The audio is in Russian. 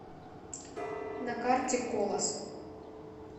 на карте колос